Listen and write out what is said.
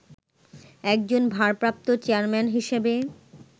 একজন 'ভারপ্রাপ্ত চেয়ারম্যান' হিসেবে